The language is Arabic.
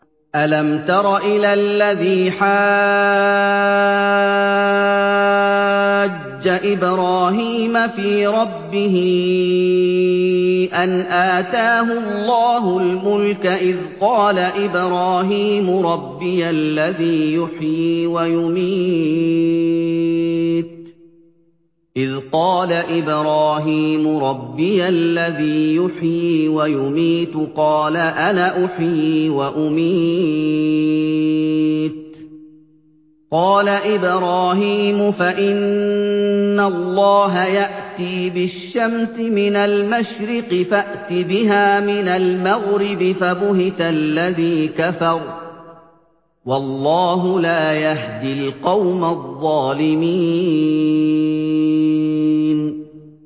أَلَمْ تَرَ إِلَى الَّذِي حَاجَّ إِبْرَاهِيمَ فِي رَبِّهِ أَنْ آتَاهُ اللَّهُ الْمُلْكَ إِذْ قَالَ إِبْرَاهِيمُ رَبِّيَ الَّذِي يُحْيِي وَيُمِيتُ قَالَ أَنَا أُحْيِي وَأُمِيتُ ۖ قَالَ إِبْرَاهِيمُ فَإِنَّ اللَّهَ يَأْتِي بِالشَّمْسِ مِنَ الْمَشْرِقِ فَأْتِ بِهَا مِنَ الْمَغْرِبِ فَبُهِتَ الَّذِي كَفَرَ ۗ وَاللَّهُ لَا يَهْدِي الْقَوْمَ الظَّالِمِينَ